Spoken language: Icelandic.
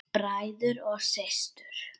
Bræður og systur!